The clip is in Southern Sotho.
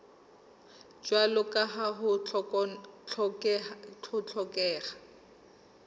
jwalo ka ha ho hlokeha